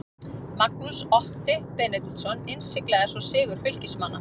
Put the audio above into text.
Magnús Otti Benediktsson innsiglaði svo sigur Fylkismanna.